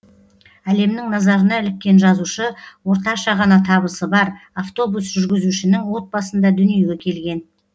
әлемнің назарына іліккен жазушы орташа ғана табысы бар автобус жүргізушінің отбасында дүниеге келген